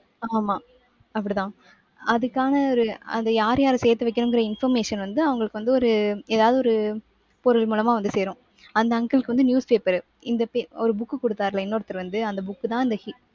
ஆமா அப்படித்தான். அதுக்கான ஒரு அது யார் யார சேர்த்து வைக்கணும்ங்கிற information வந்து அவங்களுக்கு வந்து ஒரு ஏதாவது ஒரு பொருள் மூலமா வந்து சேரும். அந்த uncle க்கு வந்து newspaper உ இந்த pa~ ஒரு book கொடுத்தாருல்ல இன்னொருத்தர் வந்து அந்த book தான் அந்த he~